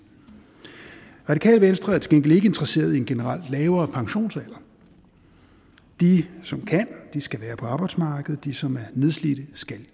radikale venstre er til gengæld ikke interesseret i en generelt lavere pensionsalder de som kan skal være på arbejdsmarkedet og de som er nedslidte skal